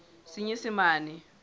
senyesemane